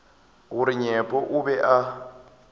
gore nyepo o be a